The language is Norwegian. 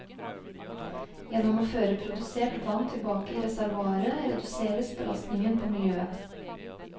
Gjennom å føre produsert vann tilbake i reservoaret, reduseres belastningen på miljøet.